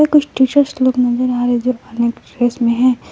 कुछ टीचर्स लोग नजर आ रहे हैं जो अनेक ड्रेस में है।